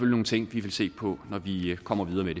nogle ting vi vil se på når vi kommer videre